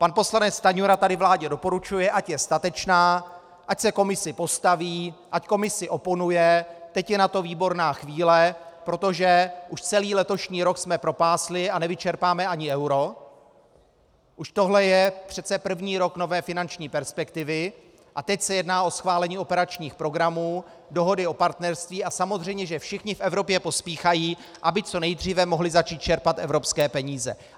Pan poslanec Stanjura tady vládě doporučuje, ať je statečná, ať se Komisi postaví, ať Komisi oponuje, teď je na to výborná chvíle, protože už celý letošní rok jsme propásli a nevyčerpáme ani euro, už tohle je přece první rok nové finanční perspektivy a teď se jedná o schválení operačních programů, dohody o partnerství a samozřejmě, že všichni v Evropě pospíchají, aby co nejdříve mohli začít čerpat evropské peníze.